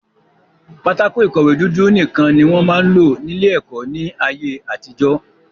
Pátákó ìkọ̀wé dúdú nìkan ni wọ́n máa ń lò ní ilé-ẹ̀kọ́ ní ayé-àtijọ́.